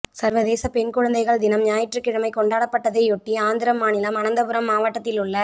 சா்வதேச பெண் குழந்தைகள் தினம் ஞாயிற்றுக்கிழமை கொண்டாடப்பட்டதை யொட்டி ஆந்திரம் மாநிலம் அனந்தபுரம் மாவட்டத்திலுள்ள